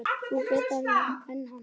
Nú grillti í Daða og menn hans.